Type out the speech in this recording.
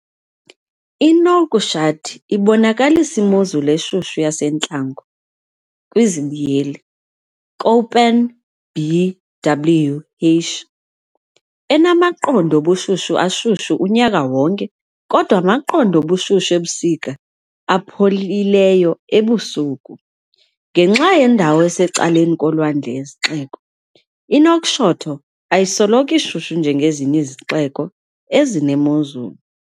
I-Nouakchott ibonakalisa imozulu eshushu yasentlango, Köppen, BWh, enamaqondo obushushu ashushu unyaka wonke kodwa amaqondo obushushu ebusika apholileyo ebusuku. Ngenxa yendawo esecaleni kolwandle yesixeko, iNouakchott ayisoloko ishushu njengezinye izixeko ezinemozulu.